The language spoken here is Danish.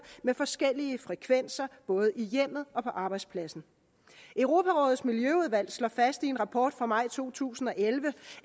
med forskellige frekvenser både i hjemmet og på arbejdspladsen europarådets miljøudvalg slår fast i en rapport fra maj to tusind og elleve